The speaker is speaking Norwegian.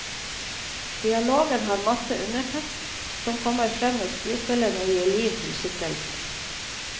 Dialogen har masse undertekst som kommer frem når skuespillere gir liv til skikkelsene.